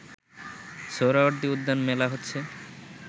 সোহরাওয়ার্দী উদ্যান মেলা হচ্ছে